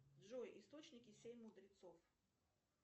джой источники семь мудрецов